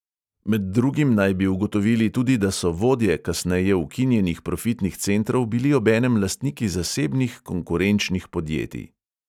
Med drugim naj bi ugotovili tudi, da so vodje kasneje ukinjenih profitnih centrov bili obenem lastniki zasebnih konkurenčnih podjetij.